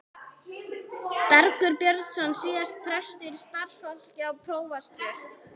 Bergur Björnsson, síðar prestur í Stafholti og prófastur.